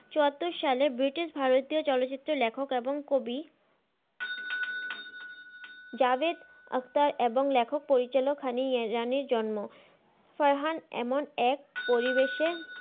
চুয়াত্তর সালে ব্রিটিশ ভারতীয় চলচিত্রের লেখক এবং কবি জাবেদ আক্তার এবং লেখক পরিচালক হানিরানের জন্ম ফারহান এমন এক পরিবেশে